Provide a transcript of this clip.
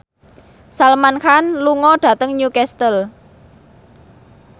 Salman Khan lunga dhateng Newcastle